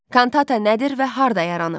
Kantata nədir və harda yaranıb?